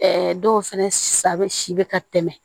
dɔw fɛnɛ sabɛ si bɛ ka tɛmɛ